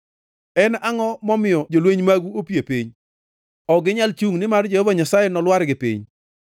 En angʼo momiyo jolweny magu opie piny? Ok ginyal chungʼ, nimar Jehova Nyasaye nolwargi piny.